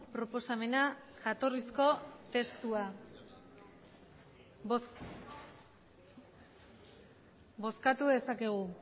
proposamena jatorrizko testua bozkatu dezakegu